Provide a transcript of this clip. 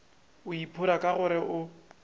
o iphora ka gore o